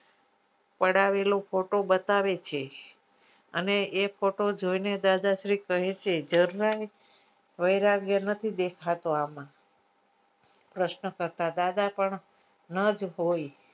પડાવેલો photo બતાવે છે અને એ photo જોઇને દાદાશ્રી કહે છે જરણા વૈરાગ્ય નથી દેખાતું આમાં પ્રશ્ન કરતા દાદા પણ ના જ હોઈ